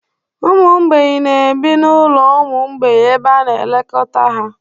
Ụmụ mgbei na-ebi n'ụlọ ụmụ mgbei ebe a na-elekọta ha